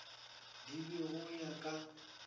di be go ya ka